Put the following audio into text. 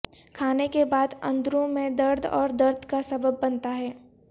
کھانے کے بعد اندروں میں درد اور درد کا سبب بنتا ہے